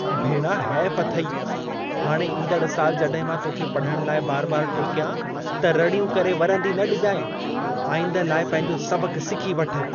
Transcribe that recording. भेणा हेफ अथई! हाणे ईंदड़ साल जॾहिं मां तोखे पढ़ण लाइ बार-बार टोकियां, त रड़ियूं करे वरंदी न ॾिजाइं। आईंदह लाइ पंहिंजो सबक़ सिखी वठ।